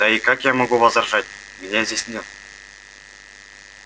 да и как я могу возражать меня здесь нет